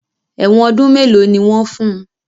Èwọ̀n ọdún mélòó ni wọ́n fun?